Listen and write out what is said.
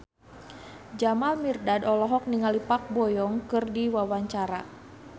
Jamal Mirdad olohok ningali Park Bo Yung keur diwawancara